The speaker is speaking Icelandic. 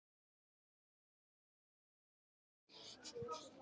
Ég er ekki frá því að hann sé nokkuð líkur mér.